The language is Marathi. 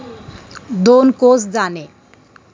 दोन कोस जाणे